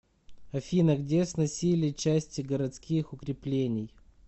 афина где сносили части городских укреплений